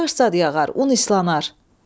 Yağış zad yağar, un islanar.